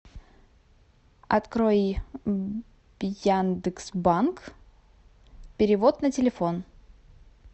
открой яндекс банк перевод на телефон